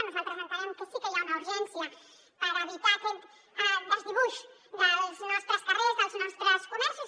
nosaltres entenem que sí que hi ha una urgència per evitar aquest desdibuix dels nostres carrers dels nostres comerços